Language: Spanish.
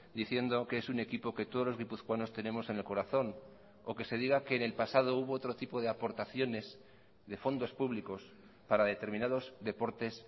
diciendo que es un equipo que todos los guipuzcoanos tenemos en el corazón o que se diga que en el pasado hubo otro tipo de aportaciones de fondos públicos para determinados deportes